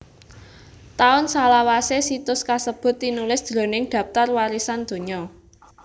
Taun salawasé situs kasebut tinulis jroning Dhaptar Warisan Donya